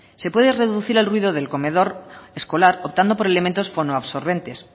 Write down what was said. se puede reducir el ruido del comedor escolar optando por elemento fono absorbentes